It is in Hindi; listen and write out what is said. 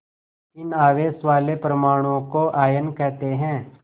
इन आवेश वाले परमाणुओं को आयन कहते हैं